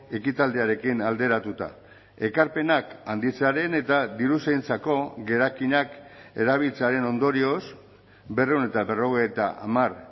ekitaldiarekin alderatuta ekarpenak handitzearen eta diruzaintzako gerakinak erabiltzearen ondorioz berrehun eta berrogeita hamar